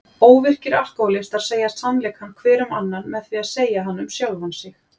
Óvirkir alkóhólistar segja sannleikann hver um annan með því að segja hann um sjálfan sig.